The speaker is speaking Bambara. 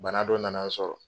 Bana dɔ nana n sɔrɔ.